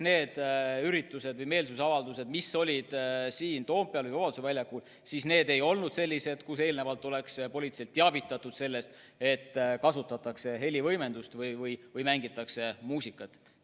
Need üritused või meelsusavaldused, mis olid Toompeal ja Vabaduse väljakul, ei olnud sellised, millest politseid oleks eelnevalt teavitatud ja ka teada antud, et kasutatakse helivõimendust või mängitakse muusikat.